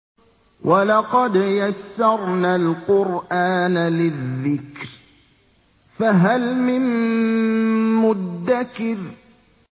وَلَقَدْ يَسَّرْنَا الْقُرْآنَ لِلذِّكْرِ فَهَلْ مِن مُّدَّكِرٍ